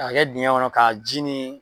K'a kɛ dingɛn kɔnɔ k'a ji ni.